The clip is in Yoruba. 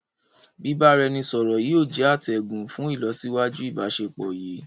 Bìbáraẹnisọọ̀rọ̀ yìí ó jẹ̀ àtẹ̀gùn fún ilosiwaju íbàsepọ̀ yí.